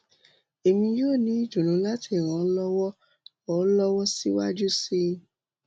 èmi yó ní ìdùnnú láti ràn ọ́ lọ́wọ́ ràn ọ́ lọ́wọ́ síwájú síi